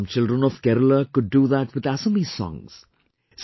some children of Kerala could do that with Assamese songs...